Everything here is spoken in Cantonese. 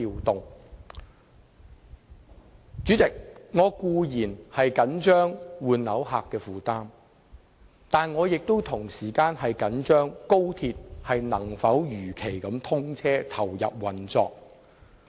代理主席，我固然着緊換樓人士的負擔，但同時亦着緊高鐵能否如期通車，投入運作。